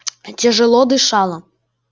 тяжело дышала